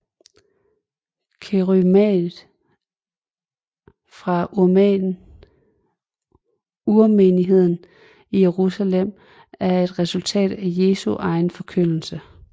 Kerygmaet fra urmenigheden i Jerusalem var et resultat af Jesu egen forkyndelse